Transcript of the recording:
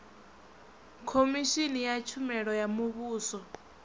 khomishini ya tshumelo ya muvhuso